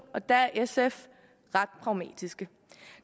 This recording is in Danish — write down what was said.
og der er sf ret pragmatisk